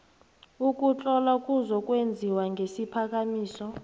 ukuhlola kuzokwenziwa ngesiphakamiso